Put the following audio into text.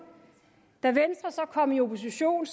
da venstre så kom i opposition